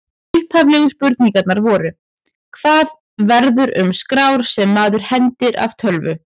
Upphaflegu spurningarnar voru: Hvað verður um skrár sem maður hendir af tölvu?